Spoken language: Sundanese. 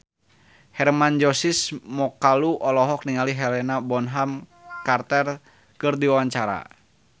Hermann Josis Mokalu olohok ningali Helena Bonham Carter keur diwawancara